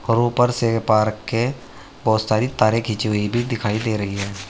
और ऊपर से पार्क के बहोत सारे तारे खींची हुई भी दिखाई दे रही है।